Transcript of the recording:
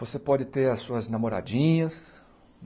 Você pode ter as suas namoradinhas.